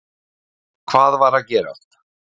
Hvað var að gerast?